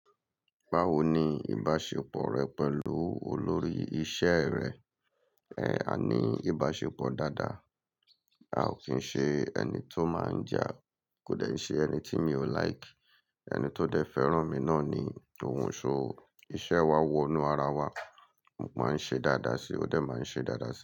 Báwo ni ìbáṣepọ̀ rẹ pẹ̀lú olórí iṣẹ́ rẹ? Ẹ àní ìbáṣepọ̀ dáadáa. A ò kí ń ṣe ẹni tó máa ń jà, kò dẹ̀ n ṣe ẹni tí mi ò like. Ẹni tó dẹ́ fẹ́ràn mi náà ni ohun so o. Iṣẹ́ wa wọnú ara wa, mo máa ń ṣe dáadáa sí i, ó dẹ̀ máa ń ṣe dáadáa sí i.